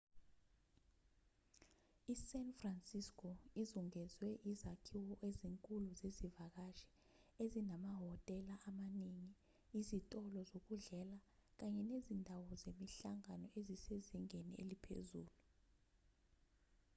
i-san francisco izungezwe izakhiwo ezinkulu zezivakashi ezinamahhotela amaningi izitolo zokudlela kanye nezakhiwo zemihlangano ezisezingeni eliphezulu